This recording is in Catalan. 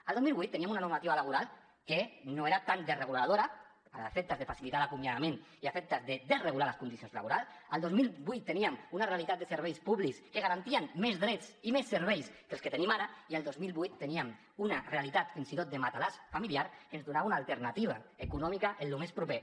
el dos mil vuit teníem una normativa laboral que no era tan desreguladora a efectes de facilitar l’acomiadament i a efectes de desregular les condicions laborals el dos mil vuit teníem una realitat de serveis públics que garantien més drets i més serveis que els que tenim ara i el dos mil vuit teníem una realitat fins i tot de matalàs familiar que ens donava una alternativa econòmica en lo més proper